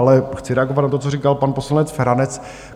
Ale chci reagovat na to, co říkal pan poslanec Feranec.